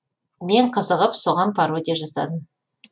мен қызығып соған пародия жасадым